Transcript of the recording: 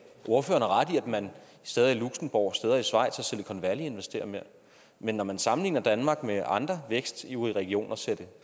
ordføreren har i at man steder i luxembourg steder i schweiz og i silicon valley investerer mere men når man sammenligner danmark med andre vækstivrige regioner ser det